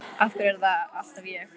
Af hverju er það alltaf ég?